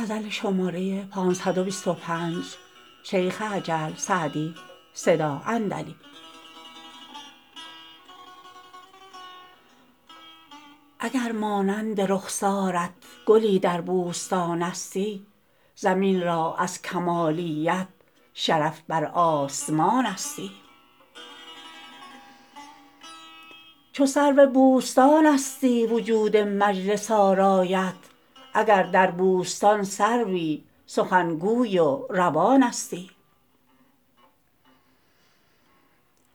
اگر مانند رخسارت گلی در بوستانستی زمین را از کمالیت شرف بر آسمانستی چو سرو بوستانستی وجود مجلس آرایت اگر در بوستان سروی سخنگوی و روانستی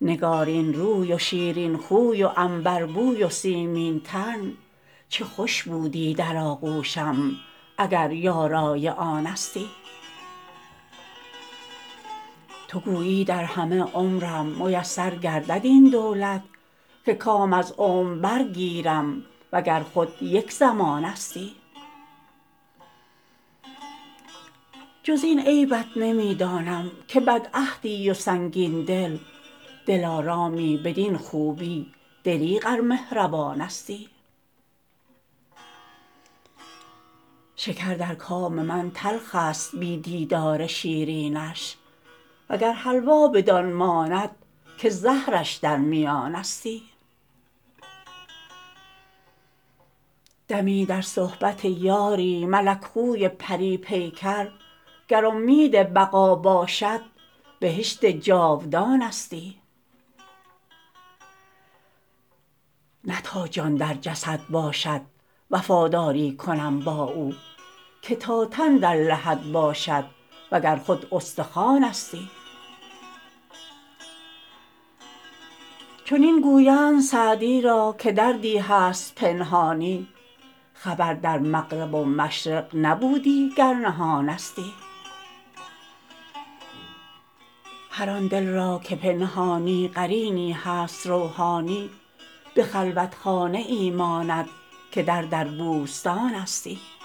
نگارین روی و شیرین خوی و عنبربوی و سیمین تن چه خوش بودی در آغوشم اگر یارای آنستی تو گویی در همه عمرم میسر گردد این دولت که کام از عمر برگیرم و گر خود یک زمانستی جز این عیبت نمی دانم که بدعهدی و سنگین دل دلارامی بدین خوبی دریغ ار مهربانستی شکر در کام من تلخ است بی دیدار شیرینش و گر حلوا بدان ماند که زهرش در میانستی دمی در صحبت یاری ملک خوی پری پیکر گر امید بقا باشد بهشت جاودانستی نه تا جان در جسد باشد وفاداری کنم با او که تا تن در لحد باشد و گر خود استخوانستی چنین گویند سعدی را که دردی هست پنهانی خبر در مغرب و مشرق نبودی گر نهانستی هر آن دل را که پنهانی قرینی هست روحانی به خلوتخانه ای ماند که در در بوستانستی